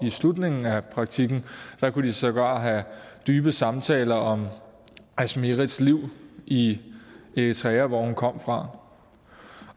slutningen af praktikken kunne de sågar have dybe samtaler om asmerets liv i eritrea hvor hun kom fra